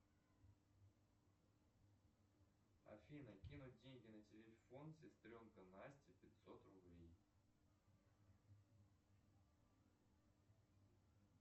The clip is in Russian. афина кинуть деньги на телефон сестренка настя пятьсот рублей